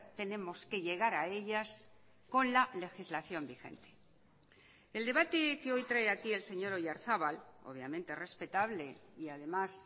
tenemos que llegar a ellas con la legislación vigente el debate que hoy trae aquí el señor oyarzabal obviamente respetable y además